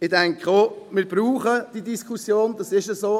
Ich denke, wir brauchen diese Diskussion, das ist so.